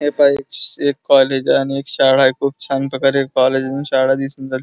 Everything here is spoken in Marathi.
ह्या पाही एक कॉलेज आणि एक शाळा आहे खूप छान प्रकारे कॉलेज आणि शाळा दिसून राहिले.